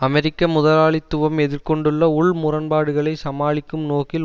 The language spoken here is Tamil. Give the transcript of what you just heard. அமெரிக்க முதலாளித்துவம் எதிர் கொண்டுள்ள உள் முரண்பாடுகளை சமாளிக்கும் நோக்கில்